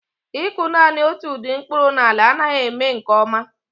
Ịkụ naanị otu ụdị mkpụrụ na ala anaghị eme m nke ọma